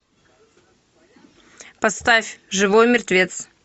поставь живой мертвец